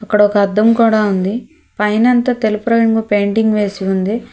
ఇక్కడ ఒక ఆదం కూడా ఉంది పైన అంతా తెలుపు రంగు పెయింటింగ్ వేసి ఉంది.